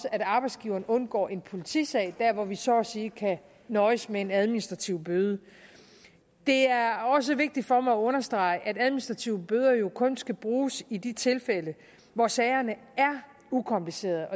at arbejdsgiveren undgår en politisag der hvor man så at sige kan nøjes med en administrativ bøde det er også vigtigt for mig at understrege at administrative bøder kun skal bruges i de tilfælde hvor sagerne er ukomplicerede